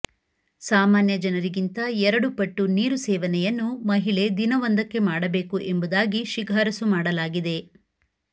ಸಾಮಾನ್ಯ ಜನರಿಗಿಂತ ಎರಡು ಪಟ್ಟು ನೀರು ಸೇವನೆಯನ್ನು ಮಹಿಳೆ ದಿನವೊಂದಕ್ಕೆ ಮಾಡಬೇಕು ಎಂಬುದಾಗಿ ಶಿಫಾರಸು ಮಾಡಲಾಗಿದೆ